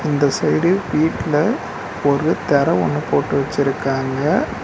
இந்த சைடு வீட்ல ஒரு தெர ஒன்னு போட்டு வச்சுருக்காங்க.